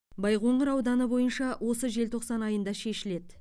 байқоңыр ауданы бойынша осы желтоқсан айында шешіледі